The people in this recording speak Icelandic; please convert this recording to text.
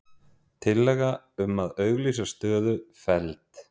Tillaga um að auglýsa stöðu felld